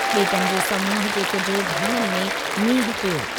ॿेेटनि जे समूहु जे कुझु भाङनि में मींहुं पियो।